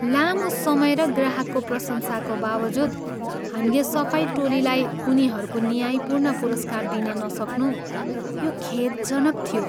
लामो समय र ग्राहकको प्रशंसाको बावजुद, हामीले सफाई टोलीलाई उनीहरूको न्यायपूर्ण पुरस्कार दिन नसक्नु यो खेदजनक थियो।